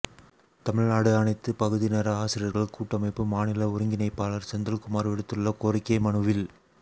தமிழ்நாடு அனைத்து பகுதிநேர ஆசிரியர்கள் கூட்டமைப்பு மாநில ஒருங்கிணைப்பாளர் செந்தில்குமார் விடுத்துள்ள கோரிக்கை மனுவில்